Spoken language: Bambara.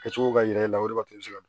Kɛ cogo ka ɲi e la o de b'a to i bɛ se ka